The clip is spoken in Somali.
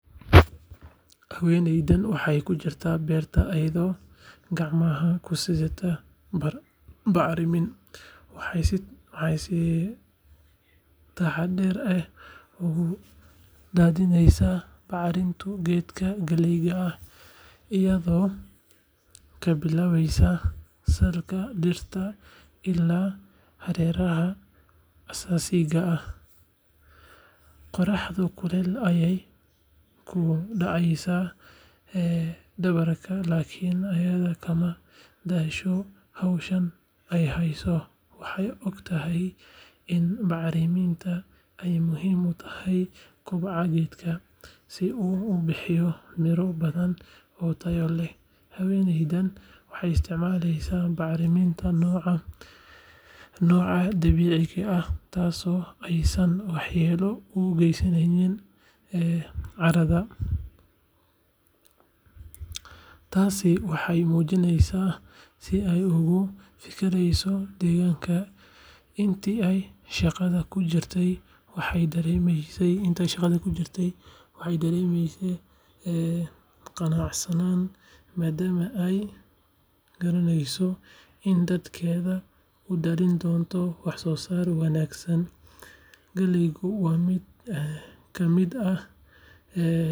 Haweneydan waxee ku jirtaa beerta ayado gacmaha kusidhata bacrimin, waxee si taxadar leh u dadhineysa baxrintu geedka galeyda iyado kabilaweysa salka dirta ila hareraha asasiga ah, qoraxdu kulel ayey kudaceysa ee dawarka lakin ayada kamadasho howshan ayada waxee ogtahay in bacrimintu ee muhiim u tahay kobciga geedka si u ubixiyo miro badan oo tayo leh haweneydan waxee isticmaleysa bacriminta noca dabiciga ah tas oo wax u gesaneynin carada, tasi waxee mujineysa si ee oga fikireyso inta ee shaqaada kujirtee waxee daremeyse qanacsanan madama ee garaneyso In dad keedu udalin wax wanagsan galeygu waa miid ka miid ah.